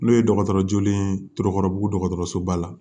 N'o ye dɔgɔtɔrɔ joolen ye tɔrɔkɔrɔbugu dɔgɔtɔrɔsoba la